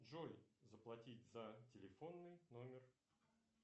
джой заплатить за телефонный номер